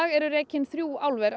eru rekin þrjú álver